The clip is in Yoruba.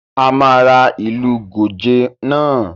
A máa ra ìlú gòjé náà